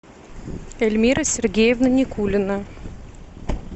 эльмира сергеевна никулина